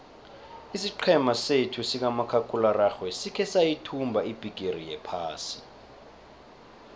isiqhema sethu sikamakhakhulararhwe sikhe sayithumba ibhigiri yephasi